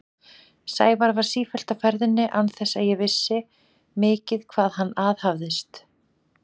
Sævar var sífellt á ferðinni án þess að ég vissi mikið hvað hann aðhafðist.